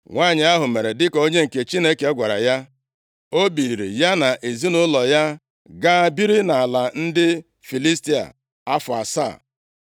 Nwanyị ahụ mere dịka onye nke Chineke gwara ya, o biliri, ya na ezinaụlọ ya gaa biri nʼala ndị Filistia + 8:2 Ọ bụghị naanị nʼala Filistia na-emepụta nri karịa ala ugwu ugwu Izrel, kama ndị agha Siria adịghị e buso ha agha mgbe mgbe, dịka ha na-eme ndị Izrel. afọ asaa.